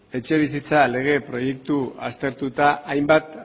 etxebizitza lege proiektu aztertuta hainbat